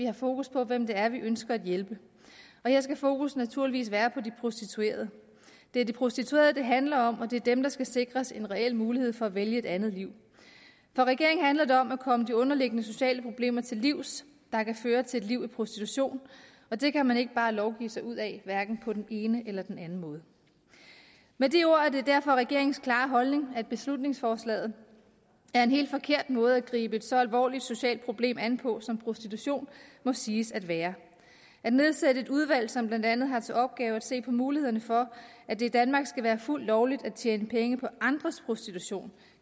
har fokus på hvem det er vi ønsker at hjælpe og her skal fokus naturligvis være på de prostituerede det er de prostituerede det handler om og det er dem der skal sikres en reel mulighed for at vælge et andet liv for regeringen handler det om at komme de underliggende sociale problemer til livs der kan føre til et liv i prostitution og det kan man ikke bare lovgive sig ud af hverken på den ene eller den anden måde med de ord er det derfor regeringens klare holdning at beslutningsforslaget er en helt forkert måde at gribe et så alvorligt socialt problem an på som prostitution må siges at være at nedsætte et udvalg som blandt andet har til opgave at se på mulighederne for at det i danmark skal være fuldt lovligt at tjene penge på andres prostitution